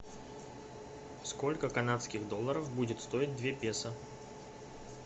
сколько канадских долларов будет стоить две песо